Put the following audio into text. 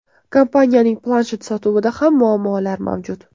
Kompaniyaning planshet sotuvida ham muammolar mavjud.